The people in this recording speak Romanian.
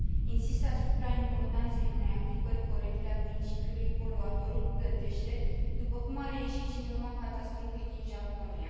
Insist asupra importanței unei aplicări corecte a principiului poluatorul plătește, după cum s a dovedit și în urma catastrofei din Japonia.